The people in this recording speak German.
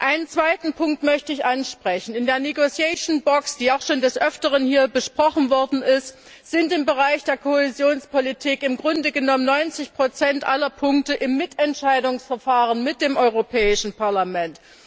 Einen zweiten Punkt möchte ich ansprechen In der negotiation box die auch schon des Öfteren hier besprochen worden ist, sind im Bereich der Kohäsionspolitik im Grunde genommen 90 aller Punkte im Mitentscheidungsverfahren mit dem Europäischen Parlament.